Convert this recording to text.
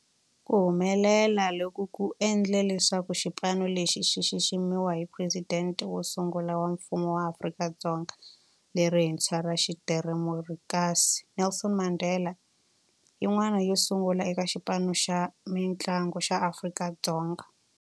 Ku humelela loku ku endle leswaku xipano lexi xi xiximiwa hi Presidente wo sungula wa Mfumo wa Afrika-Dzonga lerintshwa ra xidemokirasi, Nelson Mandela, yin'wana yo sungula eka xipano xa mintlangu xa Afrika-Dzonga.